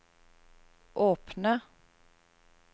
åpne